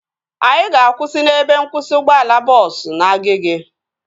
Anyị ga-akwụsị n'ebe nkwụsị ụgbọala bọọsu na Agege